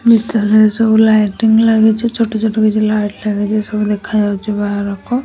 ଭିତରେ ସବୁ ଲାଇଟିଙ୍ଗ ଲାଗିଚି ଛୋଟ ଛୋଟ ସବୁ ଲାଇଟ ଲାଗିଚି ସବୁ ଦେଖାଯାଉଚି ବାହାରକୁ।